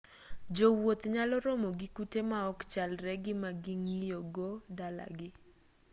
jowuoth nyalo romo gi kute ma ok chalre gi ma ging'iyogo dala gi